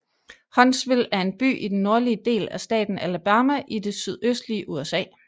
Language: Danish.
Huntsville er en by i den nordlige del af staten Alabama i det sydøstlige USA